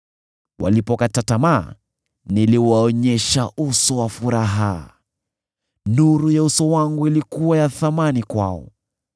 Walipokata tamaa niliwaonyesha uso wa furaha; nuru ya uso wangu ilikuwa ya thamani kwao.